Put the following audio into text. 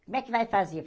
Como é que vai fazer?